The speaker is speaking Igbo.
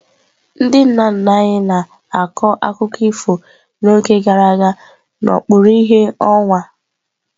Ndị nna nna anyị na-akọ akụkọ ifo n'oge gara aga n'okpuru ìhè ọnwa.